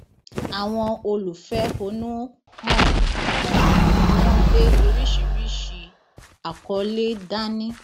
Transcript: àwọn olùfẹhónúhàn ọhún ni wọn gbé oríṣìíríṣìí àkọlé dání